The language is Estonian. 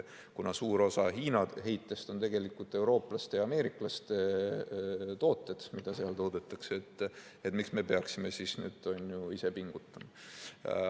Kuna suur osa Hiina heitest on tegelikult eurooplaste ja ameeriklaste tooted, mida seal toodetakse, siis miks nad peaksid pingutama.